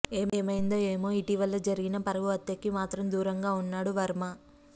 ఏమైందో ఏమో ఇటీవల జరిగిన పరువు హత్యకి మాత్రం దూరంగా ఉన్నాడు వర్మ